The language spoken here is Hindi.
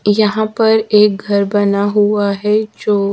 यहां पर एक घर बना हुआ है जो--